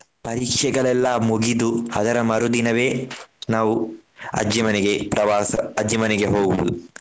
ಪರೀಕ್ಷೆಗಳೆಲ್ಲ ಮುಗಿದು ಅದರ ಮರುದಿನವೇ ನಾವು ಅಜ್ಜಿ ಮನೆಗೆ ಪ್ರವಾಸ ಅಜ್ಜಿ ಮನೆಗೆ ಹೋಗುವುದು.